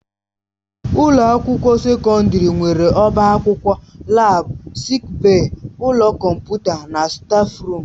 Ụlọ akwụkwọ sekọndrị nwere ọbá akwụkwọ, laabu, sịịk bèyí, ụlọ kọmputa na stáfruum.